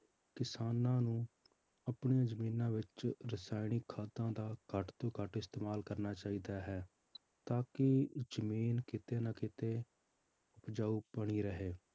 ਕਿਸਾਨਾਂ ਨੂੰ ਆਪਣੀਆਂ ਜ਼ਮੀਨਾਂ ਵਿੱਚ ਰਸਾਇਣਿਕ ਖਾਦਾਂ ਦਾ ਘੱਟ ਤੋਂ ਘੱਟ ਇਸਤੇਮਾਲ ਕਰਨਾ ਚਾਹੀਦਾ ਹੈ, ਤਾਂ ਕਿ ਜ਼ਮੀਨ ਕਿਤੇ ਨਾ ਕਿਤੇ ਉਪਜਾਊ ਬਣੀ ਰਹੇ,